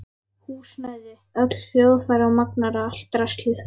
Húsnæði, öll hljóðfæri og magnara, allt draslið.